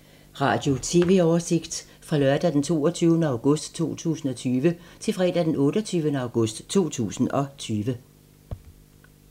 Radio/TV oversigt fra lørdag d. 22. august 2020 til fredag d. 28. august 2020